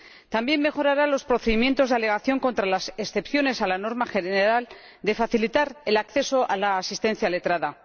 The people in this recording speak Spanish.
También mejorará los procedimientos de alegación contra las excepciones a la norma general de facilitar el acceso a la asistencia letrada.